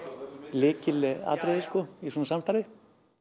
lykilatriði í svona samstarfi